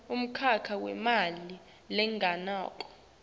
umkhakha wemali lengenako